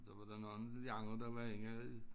Der var der nogen af de nadre der var inde i